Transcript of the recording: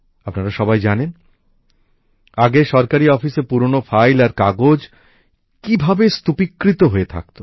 আপনারা সবাই জানেন আগে সরকারি অফিসে পুরনো ফাইল আর কাগজ কিভাবে স্তূপিকৃত হয়ে থাকত